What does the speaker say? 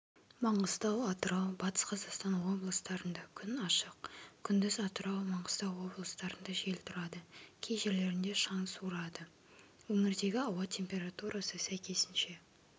маңғыстау атырау батыс қазақстан облыстарында күн ашық күндіз атырау маңғыстау облыстарында жел тұрады кей жерлерінде шаң суырады өңірдегі ауа температурасы сәйкесінше